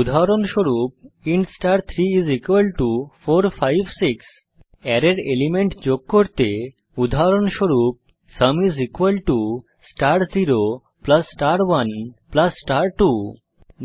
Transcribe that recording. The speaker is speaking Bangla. উদাহরণস্বরূপ ইন্ট star34 5 6 অ্যারের এলিমেন্ট যোগ করতে উদাহরণস্বরূপ sum is equal to star 0 plus star 1 plus star 2